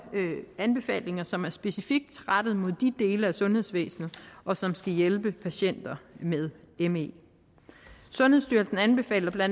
anbefalinger som er specifikt rettet mod de dele af sundhedsvæsenet og som skal hjælpe patienter med me sundhedsstyrelsen anbefaler bla